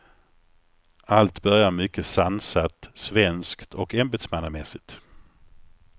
Allt börjar mycket sansat, svenskt och ämbetsmannamässigt.